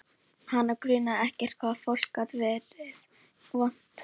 Hana grunaði ekki hvað fólk gat verið vont.